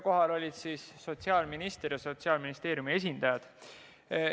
Kohal olid ka sotsiaalminister ja teised Sotsiaalministeeriumi esindajad.